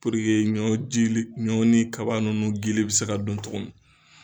ɲɔ gili ɲɔ ni kaba ninnu gili bɛ se ka don min.